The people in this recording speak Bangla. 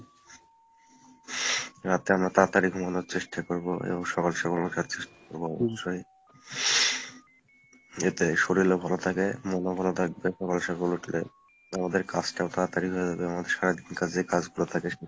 রাতে আমরা তাড়াতাড়ি ঘুমানোর চেষ্টা করবো এবং সকাল সকাল উঠার চেষ্টা করবো এতে শরীল ও ভালো থাকে মন ও ভালো থাকবে সকাল সকাল উঠলে , আমাদের কাজটা তাড়াতাড়ি হয়ে যাবে আমাদের সারাদিন যে কাজগুলো থাকে সেই